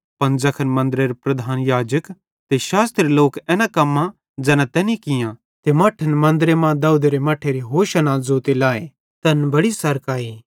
पन ज़ैखन मन्दरेरे प्रधान याजक ते शास्त्री लोक एना कम्मां ज़ैना तैनी कियां ते मट्ठन मन्दरे मां दाऊदेरी औलादरी होशाना तारीफ़ ज़ोते लाए तैन बड्डी सरक आई